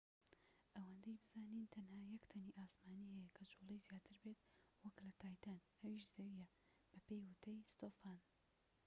ئەوەندەی بزانین تەنها یەک تەنی ئاسمانی هەیە کە جوڵەی زیاتر بێت وەك لە تایتان ئەویش زەویە بەپێی وتەی ستۆفان